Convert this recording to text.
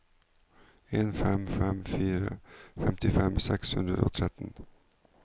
en fem fem fire femtifem seks hundre og tretten